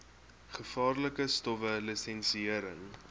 gevaarlike stowwe lisensiëring